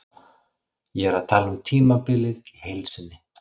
Ég er að tala um tímabilið í heild sinni.